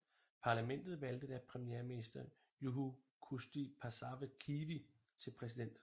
Parlamentet valgte da premierminister Juho Kusti Paasikivi til præsident